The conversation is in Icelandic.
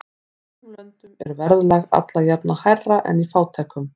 Í ríkum löndum er verðlag alla jafna hærra en í fátækum.